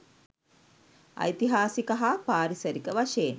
ඓතිහාසික හා පාරිසරික වශයෙන්